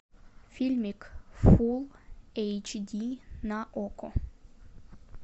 фильмик фул эйч ди на окко